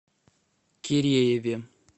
кирееве